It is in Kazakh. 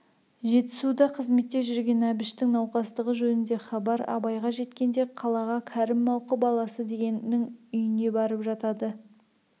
жетісуда қызметте жүрген әбіштің науқастығы жөнінде хабар абайға жеткенде қалаға кәрім мауқы баласы дегеннің үйіне барып жатады